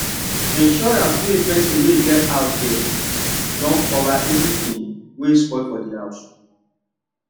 insurance wey person wey get house get don cover everything wey spoil for the house